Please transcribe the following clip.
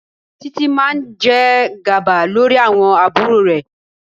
Títí máa jẹ gàba lórí àwọn àbúrò rẹ̀.